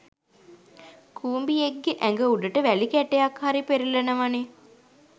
කුඹියෙක්ගෙ ඇඟ උඩට වැලි කැටයක් හරි පෙරලෙනවනෙ